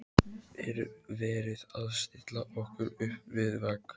Er verið að stilla okkur upp við vegg?